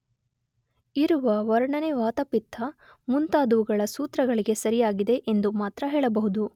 ಇರುವ ವರ್ಣನೆ ವಾತ ಪಿತ್ತ ಮುಂತಾದುವುಗಳ ಸೂತ್ರಗಳಿಗೆ ಸರಿಯಾಗಿದೆ ಎಂದು ಮಾತ್ರ ಹೇಳಬಹುದು.